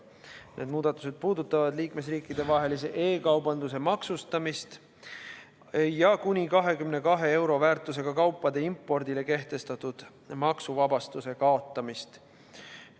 Need muudatused puudutavad liikmesriikidevahelise e-kaubanduse maksustamist ja kuni 22 euro väärtusega kaupade impordile kehtestatud maksuvabastuse kaotamist.